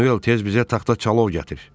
Manuel tez bizə taxta çalov gətir.